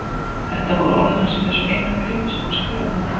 Þetta voru orð hans í þessu eina bréfi sem hann skrifaði henni.